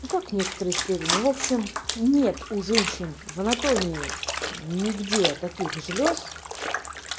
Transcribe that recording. ну как некоторые исследования в общем нет у женщин в анатомии нигде таких желёз